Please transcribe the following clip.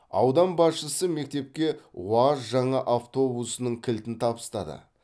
аудан басшысы мектепке уаз жаңа автобусының кілтін табыстады